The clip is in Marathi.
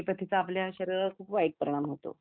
अॅलोपथी चा आपल्या शरीरावर खूप वाईट परिणाम होतो